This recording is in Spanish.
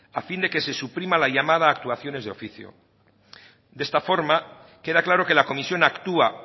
a fin de que se suprima la llamada actuaciones de oficio de esta forma queda claro que la comisión actúa